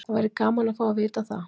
Það væri gaman að fá að vita það.